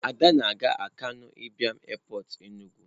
ada na-aga akanu Ibiam Airport Enugu.